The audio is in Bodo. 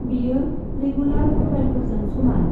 बेयो रेगुलार प्र'फाइलफोरजों समान।